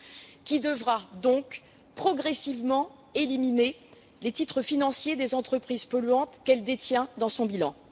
Celle ci devra donc progressivement éliminer les titres financiers des entreprises polluantes qu'elle détient dans son bilan.